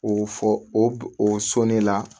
O fɔ o sɔn ne la